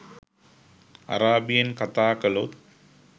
අරාබියෙන් කතා කලොත්